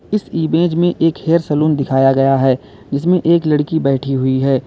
इस इमेज में एक हेयर सैलून दिखाया गया है जिसमें एक लड़की बैठी हुई है।